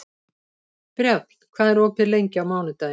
Brjánn, hvað er opið lengi á mánudaginn?